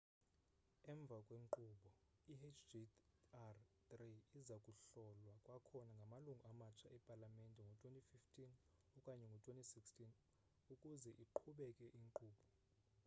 emva kwenkqubo i hjr-3 iza kuhlolwa kwakhona ngamalungu amatsha epalamente ngo-2015 okanye ngo-2016 ukuzeiqhubeke ikwinkqubo